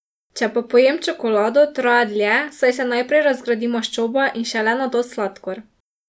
Če pa pojem čokolado, traja dlje, saj se najprej razgradi maščoba in šele nato sladkor.